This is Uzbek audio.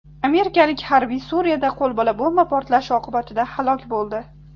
Amerikalik harbiy Suriyada qo‘lbola bomba portlashi oqibatida halok bo‘ldi.